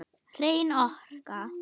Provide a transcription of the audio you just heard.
Hrein orka.